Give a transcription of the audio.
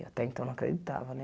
Eu, até então, não acreditava, né?